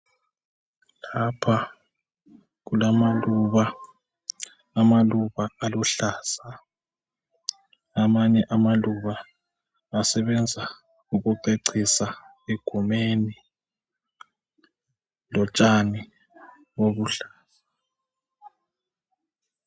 Lapha kulamaluba ,amaluba aluhlaza .Amanye amaluba asebenza ukucecisa egumeni ,lotshani obuluhlaza.